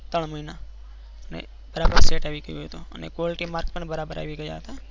ત્રણ મહિના ની બરાબર set આવિ ગયા હતા અને ગોળ કી marks પણ બરાબર આવી ગયા હતા.